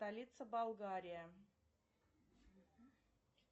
столица болгария